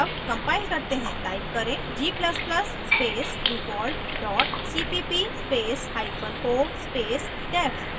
अब compile करते हैं type करें g ++ space default dot cpp space hyphen o space def